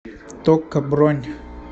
токко бронь